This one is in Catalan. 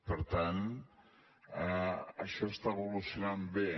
per tant això està evolucionant bé